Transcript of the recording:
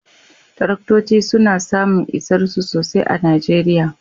Taraktoci suna samun isarsu sosai a Najeriya